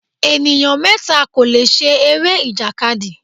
Ènìyàn mẹ́ta kò lè ṣe eré-ìjàkadì.